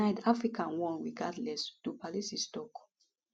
tonight africa won regardless du plessis tok